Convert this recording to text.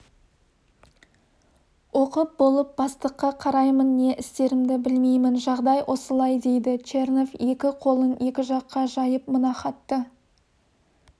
оқып болып бастыққа қараймын не істерімді білмеймін жағдай осылай дейді чернов екі қолын екі жаққа жайып мына хатты